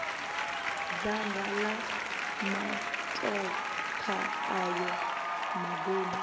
dzanga la matokha ayo maduna